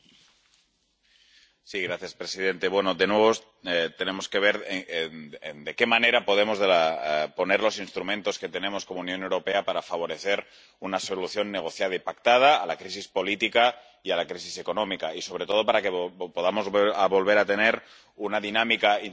Señor presidente, de nuevo tenemos que ver de qué manera podemos utilizar los instrumentos que tenemos como Unión Europea para favorecer una solución negociada y pactada a la crisis política y a la crisis económica y, sobre todo, para que podamos volver a tener una dinámica institucional compartida